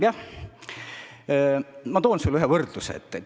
Jah, ma toon sulle ühe võrdluse.